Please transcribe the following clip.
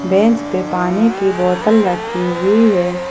Bench पे पानी की बोतल रखी हुई है।